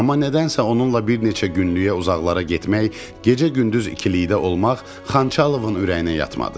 Amma nədənsə onunla bir neçə günlük uzaqlara getmək, gecə-gündüz ikilikdə olmaq Xançalovun ürəyinə yatmadı.